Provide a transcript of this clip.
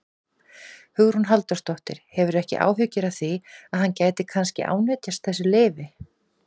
Hugrún Halldórsdóttir: Hefurðu ekki áhyggjur af því að hann gæti kannski ánetjast þessu lyfi?